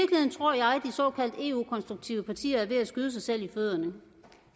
såkaldt eu konstruktive partier er ved at skyde sig selv i fødderne